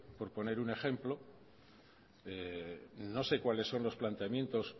por poner un ejemplo no sé cuáles son los planteamientos